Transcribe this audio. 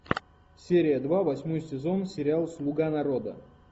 серия два восьмой сезон сериал слуга народа